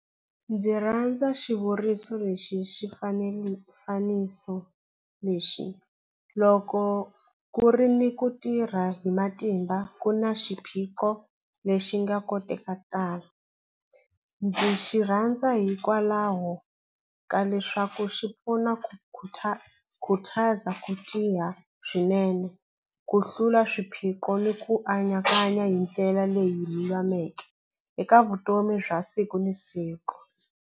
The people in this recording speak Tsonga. Ndzi rhandza xivuriso lexi xi xifaniso lexi loko ku ri ni ku tirha hi matimba ku na xiphiqo lexi nga kotekala ndzi xi rhandza hikwalaho ka leswaku xi pfuna ku khutaza ku tiya swinene ku hlula swiphiqo ni ku anakanya hi ndlela leyi lulameke eka vutomi bya siku na siku.